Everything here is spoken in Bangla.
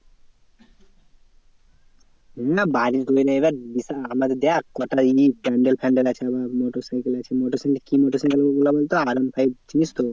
হ্যাঁ বাড়ি তৈরী এবার যেটা আমাদের দেখ কটা জিনিস panel ফ্যান্ডেল আছে আবার মোটর সাইকেল আছে। মোটর সাইকেল কি মোটর সাইকেল গুলো বলতো? R one five চিনিস তো?